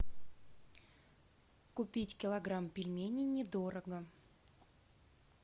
купить килограмм пельменей недорого